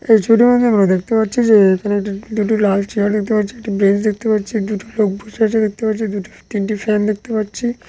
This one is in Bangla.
এই ছবিটির মধ্যে আমরা দেখতে পাচ্ছি যে এখানে দুটি লাল চেয়ার দেখতে পাচ্ছি একটি বেঞ্চ দেখতে পাচ্ছি দুটি লোক বসে আছে দেখতে পাচ্ছি দুটি তিনটি ফ্যান দেখতে পাচ্ছি।